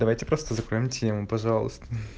давайте просто закроем тему пожалуйста